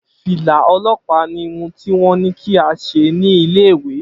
Fìlà o̩ló̩pàá ni irun tí wó̩n ní kí a s̩e ní ilé ìwé